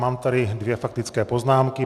Mám tady dvě faktické poznámky.